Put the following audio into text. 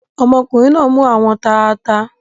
Ọmọkùnrin náa mú àwọn taata.